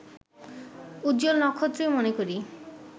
উজ্জ্বল নক্ষত্রই মনে করি